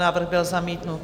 Návrh byl zamítnut.